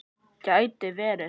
Gæti verið.